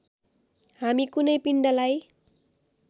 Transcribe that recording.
हामी कुनै पिण्डलाई